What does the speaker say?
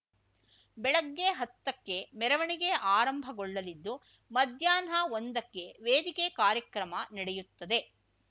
ಬೆಳಗ್ಗೆ ಹತ್ತಕ್ಕೆ ಮೆರವಣಿಗೆ ಆರಂಭಗೊಳ್ಳಲಿದ್ದು ಮಧ್ಯಾಹ್ನ ಒಂದಕ್ಕೆ ವೇದಿಕೆ ಕಾರ್ಯಕ್ರಮ ನಡೆಯುತ್ತದೆ